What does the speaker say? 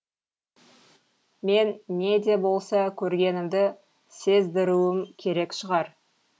мен не де болса көргенімді сездіруім керек шығар